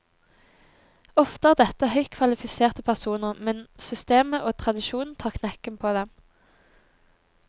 Ofte er dette høyt kvalifiserte personer, men systemet og tradisjonen tar knekken på dem.